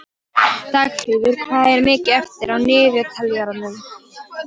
Dagfríður, hvað er mikið eftir af niðurteljaranum?